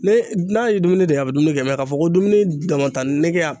Ne n'a ye dumuni de ye a bi dumuni kɛ k'a fɔ ko dumuni damatanege y'a